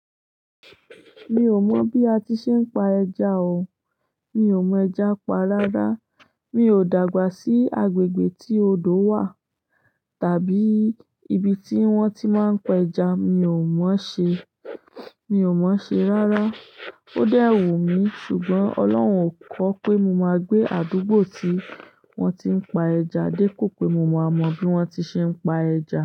Mi ò mọ̀ bí a ti ṣe ń pa ẹja o. Mi ò mọ ẹja pa rárá. Mi ò dàgbà sí agbègbè tí odò wà tàbí ibi tí wọ́n ti máa ń pa ẹja, mi ò mọ̀ ọ́n ṣe, mi ò mọ̀ ọ́n ṣe rárá. Ó dẹ́ wùn mi ṣùgbọ́n Ọlọ́run ko kọ pé mo máa gbé àdúgbò tí wọ́n ti ń pa ẹja dépo pé mo máa mọ bí wọ́n ti ṣe ń pa ẹja.